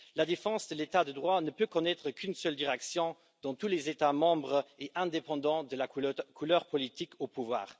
La défense de l'état de droit ne peut connaitre qu'une seule direction dans tous les États membres, indépendamment de la couleur politique au pouvoir.